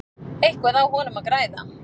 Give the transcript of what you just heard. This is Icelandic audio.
Eitthvað á honum að græða?